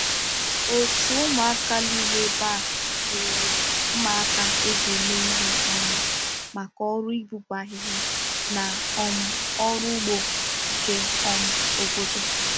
Òtù ụmụaka niile ebe a nwere mma aka e ji eme ihe ọnụ maka ọrụ ịpụpụ ahịhịa na um ọrụ ugbo nke um obodo